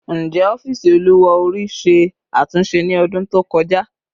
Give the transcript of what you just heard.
Njẹ ọfiisi oluwa ori ṣe atunṣe ni ọdun to kọja?